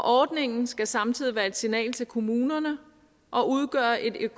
ordningen skal samtidig være et signal til kommunerne og udgøre et